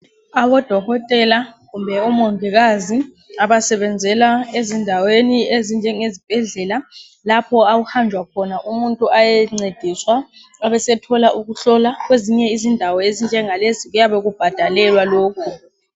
Abodokotela kumbe omongikazi abasebenzela ezindaweni ezinjenge zibhedlela lapho okuhanjwa khona umuntu ayencediswa abasethola ukuhlolwa kwezinye izindawo ezinjengalezi kuyabe kubhadalelwa lokho.